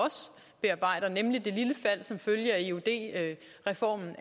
bearbejder nemlig det lille fald som følge af eud reformen